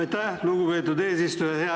Aitäh, lugupeetud eesistuja!